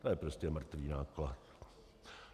To je prostě mrtvý náklad.